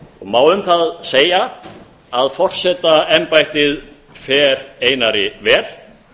má um það segja að forsetaembættið fer einari vel